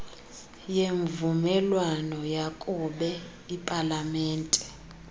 yemvumelwano yakube ipalamente